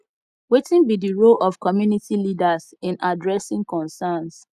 wetin be di role of community leaders in adressing concerns